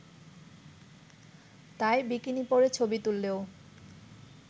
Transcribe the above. তাই বিকিনি পরে ছবি তুললেও